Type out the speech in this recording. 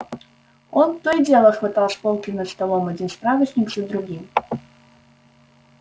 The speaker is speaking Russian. он то и дело хватал с полки над столом один справочник за другим